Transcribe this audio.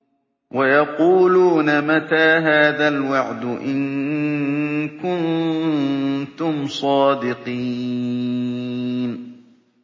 وَيَقُولُونَ مَتَىٰ هَٰذَا الْوَعْدُ إِن كُنتُمْ صَادِقِينَ